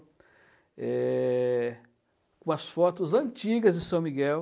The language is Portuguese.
É... com as fotos antigas de São Miguel.